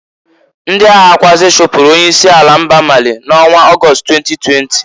Ndị aghakwuazị chupuru onye isi ala mba Mali na onwa August 2020.